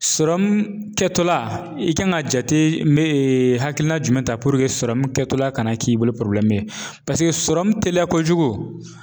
kɛtɔla i kan ka jate hakilina jumɛn ta kɛtɔla kana k'i bolo ye teliya kojugu